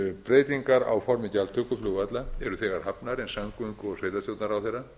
breytingar á formi gjaldtöku flugvalla eru þegar hafnar en samgöngu og sveitarstjórnarráðherra